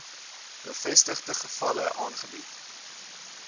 bevestigde gevalle aangebied